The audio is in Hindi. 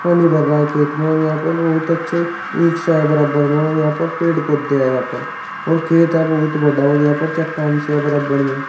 पानी भर रहा है खेत में और यहां पर बहुत अच्छे ईख सा है बराबर में और यहां पर पेड़ पौधे यहाँ पर और खेत है बहुत बडा और यहां पर चट्टान सी है बरबर में।